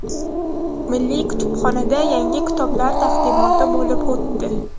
Milliy kutubxonada yangi kitoblar taqdimoti bo‘lib o‘tdi.